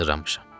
Hazırlamışam.